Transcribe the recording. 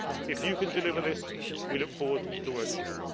past. If you can deliver this, we look forward to working with you.